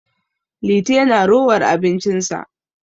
Liti yana rowar abincinsa